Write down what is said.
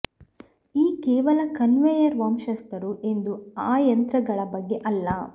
ಈ ಕೇವಲ ಕನ್ವೇಯರ್ ವಂಶಸ್ಥರು ಎಂದು ಆ ಯಂತ್ರಗಳ ಬಗ್ಗೆ ಅಲ್ಲ